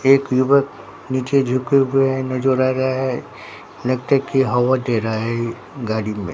एक युवक नीचे झुके हुए है नजर आ रहा है लगता है कि हवा दे रहा है गाड़ी में।